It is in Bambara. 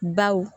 Baw